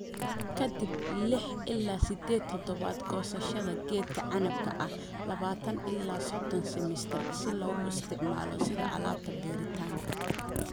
Ka dib lix ila sided toddobaad, goosashada geedka canabka ah labatan ila sodon sentimitir si loogu isticmaalo sida alaabta beeritaanka."